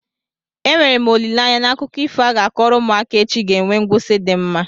Enwere m olileanya na akụkọ ifo a ga-akọrọ ụmụaka echi ga-enwe ngwụsi di mma?